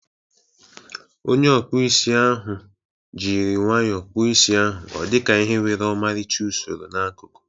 Onye ọkpụ isi ahụ jiri nwayọọ kpụọ isi ahụ ọdika ihe nwere ọmarịcha usoro n'akụkụ ya.